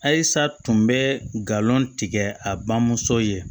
Ayisa tun bɛ galon tigɛ a bamuso ye